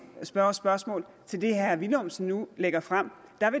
spørgsmål til det herre villumsen nu lægger frem